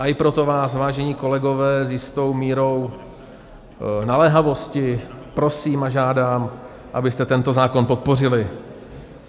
A i proto vás, vážení kolegové, s jistou mírou naléhavosti prosím a žádám, abyste tento zákon podpořili.